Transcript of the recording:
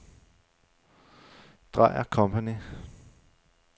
Dreier & Co.